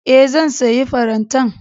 E, zan sayi farantan.